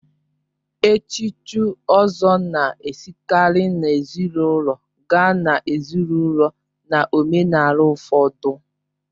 Echuchi Ozor na-esikarị n'ezinaụlọ gaa n'ezinaụlọ na omenala ụfọdụ